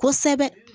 Kosɛbɛ